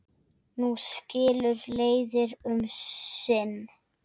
Nú skilur leiðir um sinn.